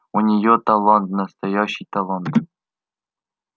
у неё талант настоящий талант